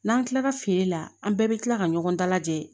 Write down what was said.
N'an kilala feere la an bɛɛ bɛ kila ka ɲɔgɔn dalajɛ